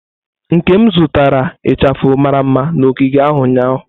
Nkem zụtara ichafu mara mma na ogige ahụ ụnyahụ.